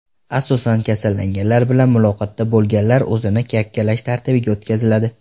Asosan kasallanganlar bilan muloqotda bo‘lganlar o‘zini yakkalash tartibiga o‘tkaziladi.